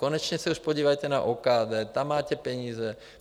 Konečně se už podívejte na OKD, tam máte peníze.